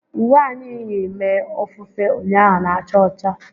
Uwe anyị yi mee ofufe ụnyaahụ na-acha ọcha